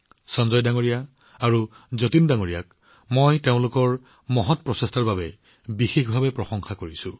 সঞ্জয়জী হওক বা যতীন জীয়েই হওক তেওঁলোকৰ এনে ধৰণৰ অজস্ৰ প্ৰচেষ্টাৰ বাবে মই তেওঁলোকক বিশেষভাৱে প্ৰশংসা কৰোঁ